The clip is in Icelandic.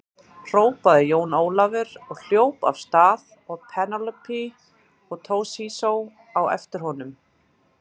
Hrópaði Jón Ólafur og hljóp af stað og Penélope og Toshizo á eftir honum.